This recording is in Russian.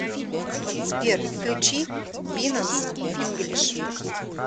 сбер включи бинанс инглиш